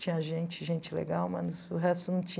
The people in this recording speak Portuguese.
Tinha gente, gente legal, mas o resto não tinha.